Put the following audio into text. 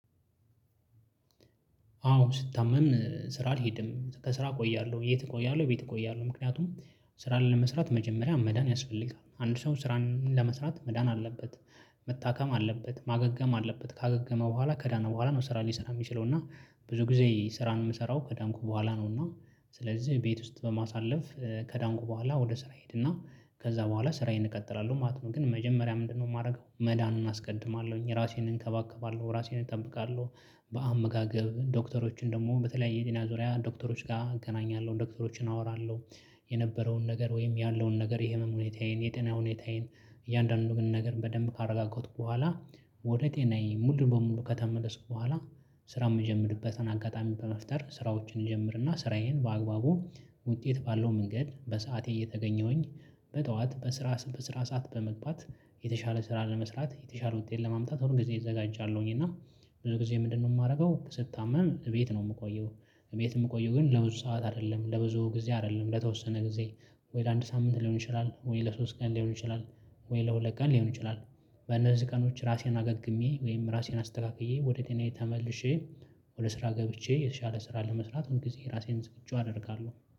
አዎ ስታመምን ስራ አልሄድም ከስራ እቆያለሁ የት እቆያለሁ የት እቆያለሁ ምክንያቱም ስራ ለመስራት መጀመሪያ መዳን ያስፈልጋል አንድ ሰው ስራን ለመስራት መዳን አለበት። መታከም አለበት ማገገም አለበት ካገገመ በኋላ ከዳነ በኋላ ነው ስራ ሊሰራ የሚችለው እና ብዙ ጊዜ ስራን የምሰራው ከዳንኩ በኋላ ነው። እና ስለዚህ ቤት ውስጥ በማሳለፍ ከዳንኩ በኋላ ወደ ስራ ሄድና ከዛ በኋላ ስራዬን እቀጥላለሁ ማለት ነው። ግን መጀመሪያ ምንድነው? የማደርገው መዳኑን አስቀድማለሁኝ ራሴን እንከባከባለሁ ራሴን እጠብቃለሁ። በአመጋገብ ዶክተሮችን ደግሞ በተለያየ የጤና ዙሪያ ዶክተሮች ጋር አገናኛለሁ ዶክተሮችን አወራለሁ። የነበረውን ነገር ወይም ያለውን ነገር የህመም ሁኔታዬን የጤና ሁኔታዬን እያንዳንዱን ነገር በደንብ ካረጋጋትኩ በኋላ ወደ ጤናዬ ሙሉ በሙሉ ከተመለስኩ በኋላ። ስራ የምጀምርበትን አጋጣሚ በመፍጠር ስራዎችን ይጀምርና ስራዬን በአግባቡ ውጤት ባለው መንገድ በሰአቴ እየተገኘሁኝ በጠዋት በስራ በስራ ሰዓት በመግባት የተሻለ ስራ ለመስራት የተሻለ ውጤት ለማምጣት ሁሉን ጊዜ እዘጋጃለሁኝ እና። ብዙ ጊዜ ምንድነው? የማደርገው ስታመም ቤት ነው የምቆየው። ቤት የምቆየው ግን ለብዙ ሰዓት አይደለም ለብዙ ጊዜ አይደለም ለተወሰነ ጊዜ ወይ ለአንድ ሳምንት ሊሆን ይችላል ወይ ለሶስት ቀን ሊሆን ይችላል ወይ ለሁለት ቀን ሊሆን ይችላል። በነዚህ ቀኖች ራሴን አገግሜ ወይም ራሴን አስተካክዬ ወደ ጤናዬ ተመልሼ ወደ ስራ ገብቼ የተሻለ ስራ ለመስራት ሁል ጊዜ ራሴን ዝግጁ አደርጋለሁ